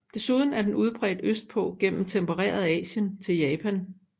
Desuden er den udbredt østpå gennem tempereret Asien til Japan